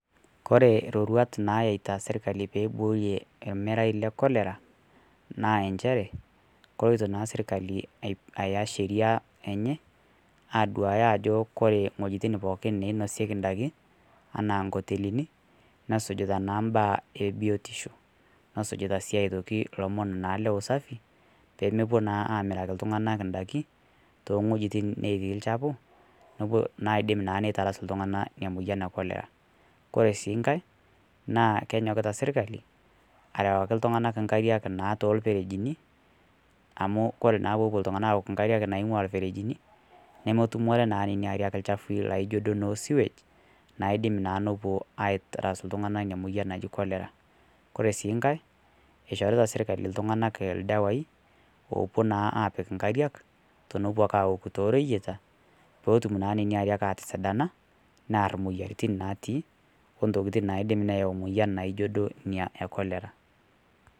kore roruat nayeita sirkalli peiboorie ermerai le cholera naa enchere koloito naa sirkali ayaa sheria enye aduaya ajo kore nghojitin pookin nainosieki ndakin anaa nkotelini nesujutaa naa mbaa e biotishoo nesujuta naa sii otoki lomon naa le usafi peemopuo naa amiraki ltunganak ndakii te nghojitin netii lchafuu naidim naa neitarasuu ltungana inia moyan ee cholera kore sii nghai naa kenyokitaa sirkali arawaki ltunganak nkariak te lperejini amu kore naa poopuo ltungana awokuu nkariak naingua lperejini nomotumore naa nenia ariak lchafui laijo duo naa noo sewage naidim naa nopuo aitarasuu ltungana inia moyan naji cholera kore sii nghai eishorita sirkalii ltunganak ldawai oopuo naa apik nkariak tonopuo naa awokuu to royeitaa pootum naa nenia ariak atisidana neyar moyaritin natii oo ntokitin naidim neyau moiyan naijo duo nia e cholera